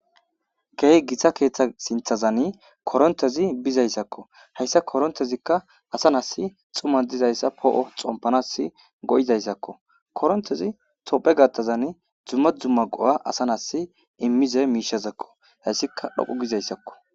Keeh gita keeththa sinthazan korontezi bizayssakko, hayssa korontezikka asa nas xuma dizayssa poo'o xompanas go7izayssakko, korontezi tophe gattazan xumma xompanas go'izaysako ,asa nasi immize miishazakko hayssika dhoqu gizayssakko